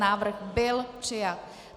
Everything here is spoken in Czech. Návrh byl přijat.